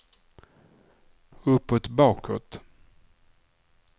uppåt bakåt